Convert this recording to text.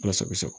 Ala sago i sago